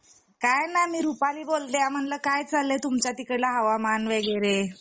काय नाही मी रुपाली बोलते म्हणलं काय चाललंय तुमच्या तिकडचा हवामान वगैरे